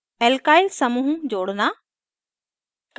alkyl समूहों जोड़ना